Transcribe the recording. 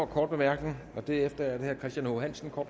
kort bemærkning derefter er det herre christian h hansen og